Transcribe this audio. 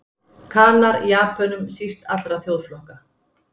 Kanar Japönum síst allra þjóðflokka.